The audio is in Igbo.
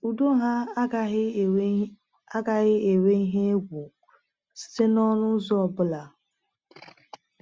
Udo ha agaghị enwe agaghị enwe ihe egwu site n’ọnụ ụzọ ọ bụla